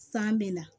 San bɛ na